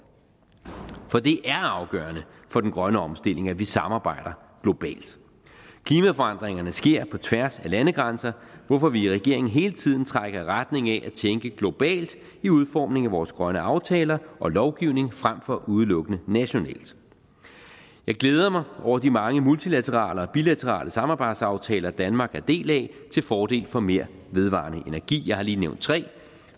det er afgørende for den grønne omstilling at vi samarbejder globalt klimaforandringerne sker på tværs af landegrænser hvorfor vi i regeringen hele tiden trækker i retning af at tænke globalt i udformningen af vores grønne aftaler og lovgivning frem for udelukkende nationalt jeg glæder mig over de mange multilaterale og bilaterale samarbejdsaftaler danmark er en del af til fordel for mere vedvarende energi jeg har lige nævnt tre